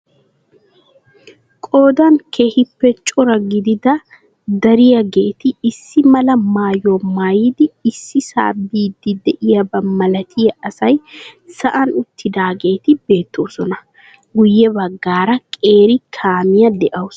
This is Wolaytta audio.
Qoodan keehiippe cora gidida dariyaageetti issi mala maayuwaa maayidi issisaa biidi diyabaa malattiya asay sa'aan uttidaageeti beettoosona. Guye baggaara qeeri kaamiya de'awusu.